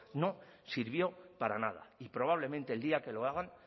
no sirvió para nada y probablemente el día que lo hagan